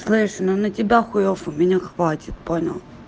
знаешь ну на тебя хуёв у меня хватит понял